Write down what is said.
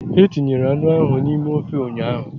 E tinyere anụ ahụ n'ime ofe ụnyaahụ